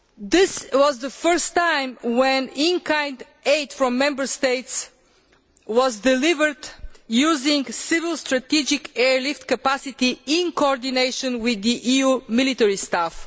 This is the fist time that in kind aid from Member States has been delivered using civil strategic airlift capacity in coordination with the EU military staff.